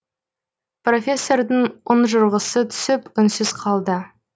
профессордің ұнжырғысы түсіп үнсіз қалды